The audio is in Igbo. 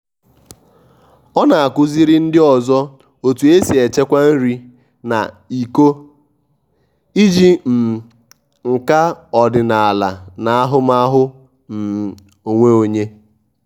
ọ na-akuziri ndị ọzọ otu e si echekwa nri na iko iji um nka ọdịnaala na ahụmahụ um onwe onye